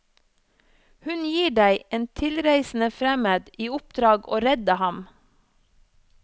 Hun gir deg, en tilreisende fremmed, i oppdrag å redde ham.